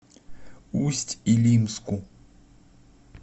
усть илимску